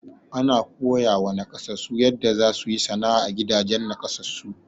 Ana koyawa nakasassu yanda za su yi sana'a, a gidajen nakasassu.